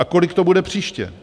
A kolik to bude příště?